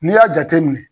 N'i y'a jateminɛ